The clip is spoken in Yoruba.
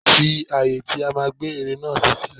Fi ààyè ibi tí a máa gbé ère náà sí sílè.